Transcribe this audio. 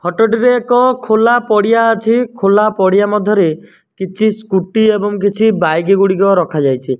Photo ଟି ରେ ଏକ ଖୋଲା ପଡିଆ ଅଛି ଖୋଲା ପଡିଆ ମଧ୍ୟ ରେ କିଛି ସ୍କୁଟି ଏବଂ କିଛି ବାଇକ୍ ଗୁଡ଼ିକ ରଖା ଯାଇଛି।